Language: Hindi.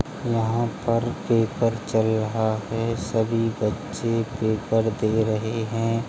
यहाँ पर पेपर चल रहा है सभी बच्चे पेपर दे रहे हैं |